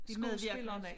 Skuespillerne